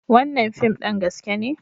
Wannan fim ɗin gaske ne.